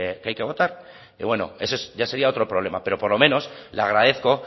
que hay que votar y bueno eso es ya sería otro problema pero por lo menos le agradezco